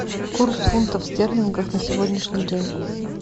курс фунтов стерлингов на сегодняшний день